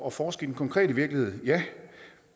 at forske i den konkrete virkelighed ja